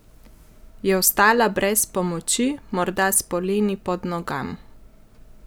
Je ostala brez pomoči, morda s poleni pod nogam?